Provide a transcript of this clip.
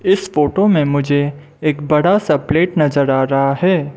इस फोटो में मुझे एक बड़ा सा प्लेट नजर आ रहा है।